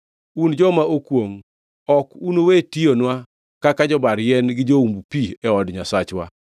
Un joma okwongʼ! Ok unuwe tiyonwa kaka jobar yien gi joumb pi e od Nyasacha.”